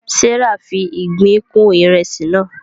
Serah fí ìgbín kún Ìrẹsí naa